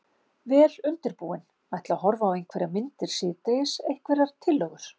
Vel undirbúinn. ætla að horfa á einhverjar myndir síðdegis, einhverjar tillögur?